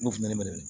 N'u fina ne minɛ dɛ